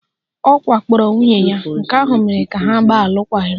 Ọ wakporo nwunye ya, nke ahụ mere ka ha gbaa alụkwaghịm